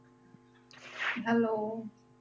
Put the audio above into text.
Hello